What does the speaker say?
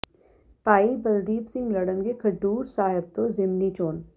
ਭਾਈ ਬਲਦੀਪ ਸਿੰਘ ਲਡ਼ਨਗੇ ਖਡੂਰ ਸਾਹਿਬ ਤੋਂ ਜ਼ਿਮਨੀ ਚੋਣ